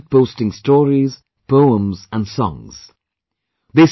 So, people started posting stories, poems and songs